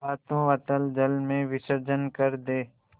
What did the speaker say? हाथों अतल जल में विसर्जन कर दे